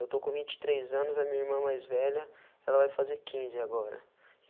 Eu estou com vinte e três anos, a minha irmã mais velha, ela vai fazer quinze agora.